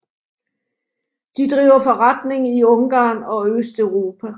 De driver forretning i Ungarn og Østeuropa